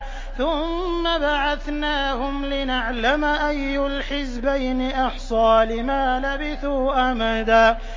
ثُمَّ بَعَثْنَاهُمْ لِنَعْلَمَ أَيُّ الْحِزْبَيْنِ أَحْصَىٰ لِمَا لَبِثُوا أَمَدًا